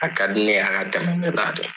A ka di ne y'a ka tɛmɛ na